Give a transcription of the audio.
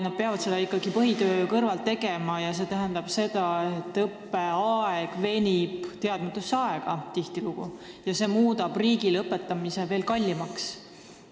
Nad peavad seda ikkagi tegema põhitöö kõrvalt ja see tähendab seda, et õppeaeg venib tihtilugu teadmata pikaks ja see muudab riigile nende õpetamise veel kallimaks.